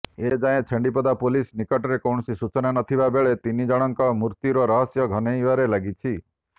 ଏ ଯାଏଁ ଛେଣ୍ଡିପଦା ପୋଲିସ ନିକଟରେ କୌଣସି ସୂଚନା ନଥିବାବେଳେ ତିନିଜଣଙ୍କ ମୃତ୍ୟୁର ରହସ୍ୟ ଘନେଇବାରେ ଲାଗିଛି